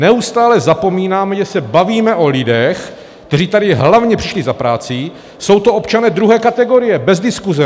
Neustále zapomínáme, že se bavíme o lidech, kteří tady hlavně přišli za prací, jsou to občané druhé kategorie, bez diskuse.